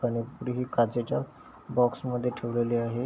Colour पुडीही ही काचेच्या बॉक्स मध्ये ठेवलेली आहे.